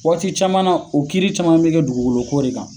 Wagati caman na, o kiiriri caman be kɛ dugukolo ko de kan.